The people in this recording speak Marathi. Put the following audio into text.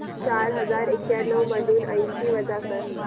चार हजार एक्याण्णव मधून ऐंशी वजा कर